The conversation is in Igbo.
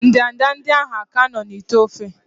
ndanda ndị ahụ ka nọ n'ite ofe?